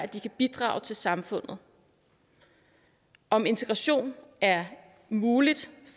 de kan bidrage til samfundet om integration er muligt